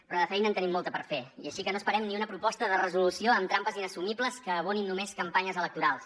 però de feina en tenim molta per fer i així que no esperem ni una proposta de resolució amb trampes inassumibles que abonin només campanyes electorals